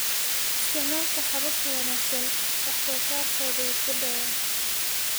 Isticmaalka habab ka wanaagsan, wax-soosaarkoodu wuu kordhay.